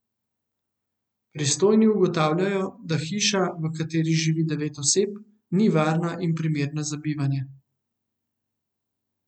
Pristojni ugotavljajo, da hiša, v kateri živi devet oseb, ni varna in primerna za bivanje.